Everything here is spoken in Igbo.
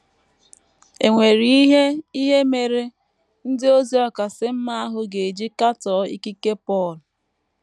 È nwere ihe ihe mere “ ndị ozi ọkasị mma ” ahụ ga - eji katọọ ikike Pọl?